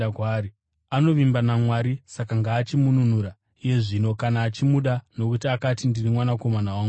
Anovimba naMwari saka ngaachimununura iye zvino kana achimuda, nokuti akati, ‘Ndiri Mwanakomana waMwari.’ ”